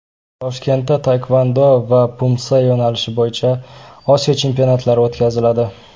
Toshkentda taekvondo va Pumse yo‘nalishi bo‘yicha Osiyo chempionatlari o‘tkaziladi.